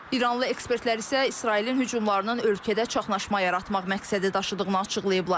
İranlı ekspertlər isə İsrailin hücumlarının ölkədə çaxnaşma yaratmaq məqsədi daşıdığını açıqlayıblar.